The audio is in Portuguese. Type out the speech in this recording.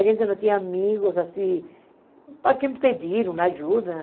A gente não tinha amigos, assim, para quem pedir uma ajuda.